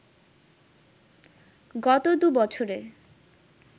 গত দু’বছরে